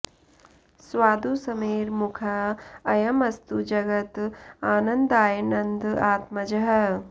स्वादु स्मेर मुखः अयम् अस्तु जगत् आनंददाय नंद आत्मजः